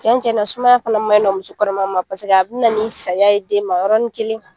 Tiɲɛn tiɲɛna sumaya fana maɲi nɔ muso kɔnɔma ma paseke a bɛ na nin saya ye den ma yɔrɔnin kelen.